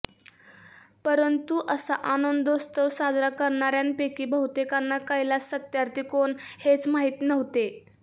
परंतु असा आनंदोत्सव साजरा करणार्यांपैकी बहुतेकांना कैलास सत्यार्थी कोण हेच माहीत नव्हते